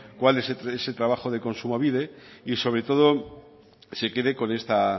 cuál es ese trabajo de kontsumobide y sobre todo se quede con esta